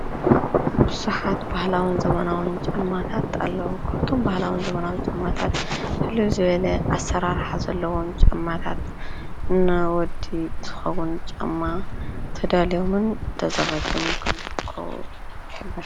ብዙሓት ዘመናዊን ባህላዊን ጫማታት ኣለው። ዘመናዊን ባህላዊ ንፍሉይ ዝበለ ኣሰራርሓ ዘለዎም ጫማታት እና ወዲ ዝከውን ጫማ ተዳልዮምን ተዘጋጅዮምን ኣለው።